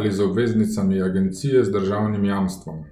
ali z obveznicami agencije z državnim jamstvom.